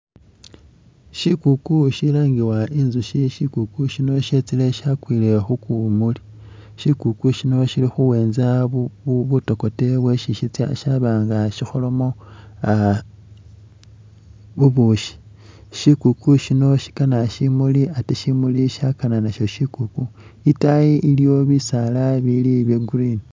Shikuuku shilangibwa inzushi, shikuuku shino shetsile shyakwile khukuwumuli ,shikuuku shino shili khuwenza bu bu butokote bwesi sitsya shaba nga shikholamo ah bubushi, shikuuku shino shikana shimuli ate shimuli shakana nasho shikuuku, itaayi iliyo bisaala bili bye green